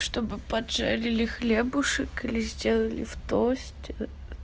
чтобы поджарили хлебушек или сделали в тосте